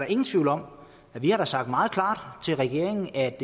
ingen tvivl om at vi har sagt meget klart til regeringen at